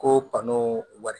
Ko bano wari